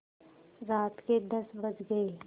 रात के दस बज गये